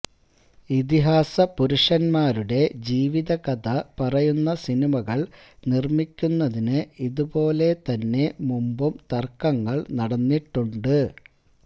ഇതിഹാസ പുരുഷന്മാരുടെ ജീവിതകഥ പറയുന്ന സിനിമകള് നിര്മ്മിക്കുന്നതിന് ഇതുപോലെ തന്നെ മുമ്പും തര്ക്കങ്ങള് നടന്നിട്ടുണ്ട്